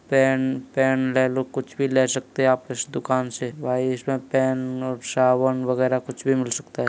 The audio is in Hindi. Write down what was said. पेन पेन लेलो कुछ भी ले सकते हैं आप इस दुकान से। भाई पेन और साबुन वगैरह कुछ भी मिल सकता है।